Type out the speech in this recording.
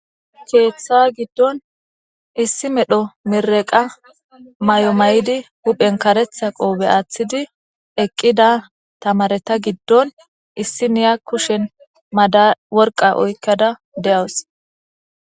Keeththa giddon issi medho mirdqa mayo mayddi huphphen kareeththa qobe aaththidi eqquda tamareta gidon issiniya kushshen worqa oyqqada dawuse.